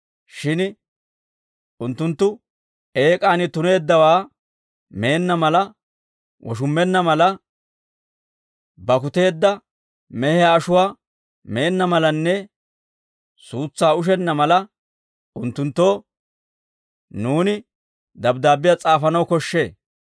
Shin unttunttu eek'aani tuneeddawaa meenna mala, woshummenna mala, bakkuteedda mehiyaa ashuwaa meenna malanne suutsaa ushenna mala, unttunttoo nuuni dabddaabbiyaa s'aafanaw koshshee.